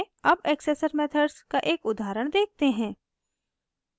अब accessor methods का एक उदाहरण देखते हैं